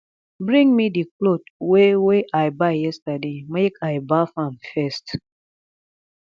bring me the cloth wey wey i buy yesterday make i baff am first